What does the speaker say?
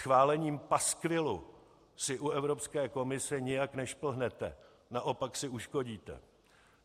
Schválením paskvilu si u Evropské komise nijak nešplhnete, naopak si uškodíte.